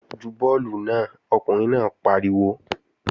Ju bọ́ọ̀lù náà! Ọkùnrin náà pariwo